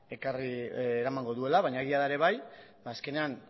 eramango duela baina egia da ere bai azkenean